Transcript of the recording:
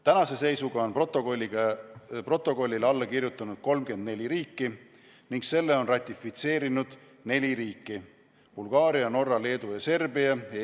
Tänase seisuga on protokollile alla kirjutanud 34 riiki ning selle on ratifitseerinud neli riiki: Bulgaaria, Norra, Leedu ja Serbia.